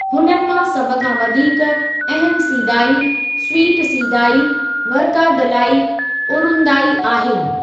हुननि मां सभखां वधीक अहम सीदाई, स्‍वीट सीदाई, वर्कादलाई उरुंदाई आहिनि।